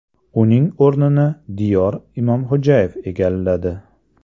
Uning o‘rnini Diyor Imomxo‘jayev egalladi.